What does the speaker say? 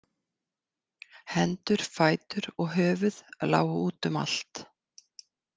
Hendur, fætur og höfuð lágu út um allt.